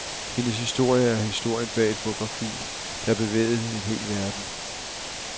Hendes historie er historien bag et fotografi, der bevægede en hel verden.